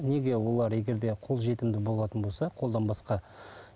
неге олар егер де қолжетімді болатын болса қолданбасқа